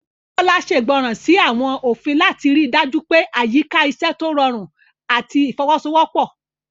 Bola ṣègbọràn sí àwọn òfin láti rí i dájú pé àyíká iṣẹ́ tó rọrùn àti ìfọwọ́sowọ́pọ̀.